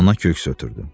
Ana köks ötürdü.